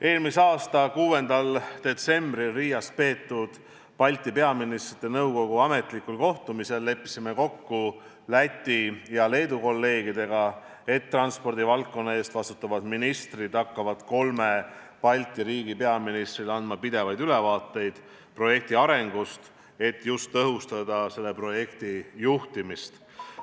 Eelmise aasta 6. detsembril Riias peetud Balti Ministrite Nõukogu ametlikul kohtumisel leppisime Läti ja Leedu kolleegidega kokku, et transpordivaldkonna eest vastutavad ministrid hakkavad kolme Balti riigi peaministritele andma pidevalt ülevaateid projekti arengust, et tõhustada selle juhtimist.